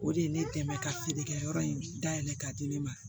O de ye ne dɛmɛ ka feerekɛyɔrɔ in dayɛlɛn ka di ne ma